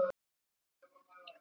Af hverju ekki í dag?